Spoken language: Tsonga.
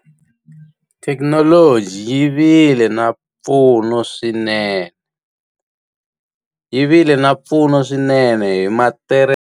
Thekinoloji yi vile na mpfuno swinene. Yi vile na mpfuno swinene hi .